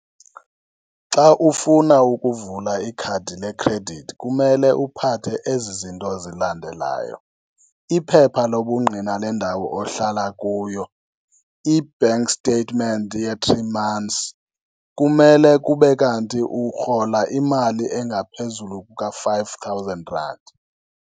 Xa ufuna ukuvula ikhadi le-credit kumele uphathe ezi zinto zilandelayo, iphepha lobungqina lendawo ohlala kuyo, i-bank statement ye-three months, kumele kube kanti urhola imali engaphezulu kuka-five thousand rand.